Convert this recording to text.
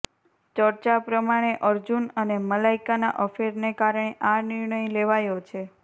ચર્ચા પ્રમાણે અર્જુન અને મલાઇકાના અફેરને કારણે આ નિર્ણય લેવાયો છે